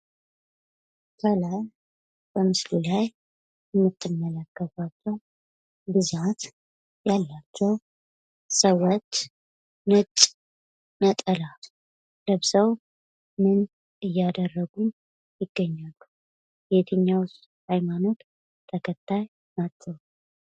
ከላይ በምስሉ ላይ የምትመለከቷቸው ብዛት ያላቸው ሰዎች ነጭ ነጠላ ለብሰው ምን እያደረጉ ይገኛሉ? የየትኛውስ ሃይማኖት ተከታይ ናቸው?